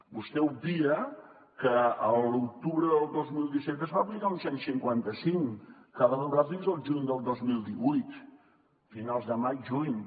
vostè obvia que l’octubre del dos mil disset es va aplicar un cent i cinquanta cinc que va durar fins al juny del dos mil divuit finals de maig juny